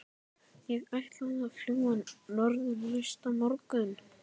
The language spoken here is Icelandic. Ég ætlaði að fljúga norður næsta morgun.